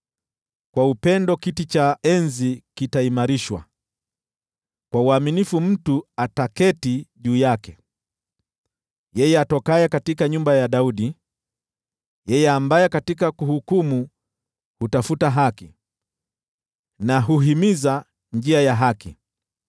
Kwa upendo kiti cha enzi kitaimarishwa, kwa uaminifu mtu ataketi juu yake, yeye atokaye nyumba ya Daudi: yeye ambaye katika kuhukumu hutafuta haki, na huhimiza njia ya haki.